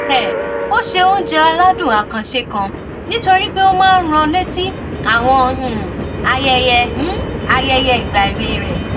um ó se oúnjẹ aládùn àkànṣe kan nítorí pé ó máa ń rán an létí àwọn um ayẹyẹ um ayẹyẹ ìgbà èwe rè